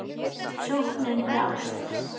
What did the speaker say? Sóknin brást.